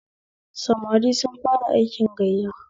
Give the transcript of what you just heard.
Samari sun fara aikin gayya